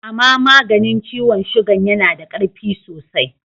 Ama maganin ciwon sugan ya na da karfi sosai.